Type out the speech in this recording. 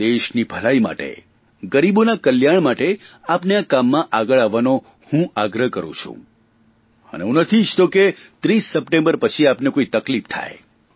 દેશી ભલાઇ માટે ગરીબોની કલ્યાણ માટે આપને આ કામમાં આગળ આવવાનો હું આગ્રહ કરું છું અને હું નથી ઇચ્છતો કે 30 સપ્ટેમ્બર પછી આપને કોઇ તકલીફ થાય